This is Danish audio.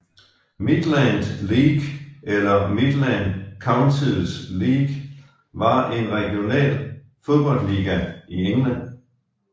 Midland League eller Midland Counties League var en regional fodboldliga i England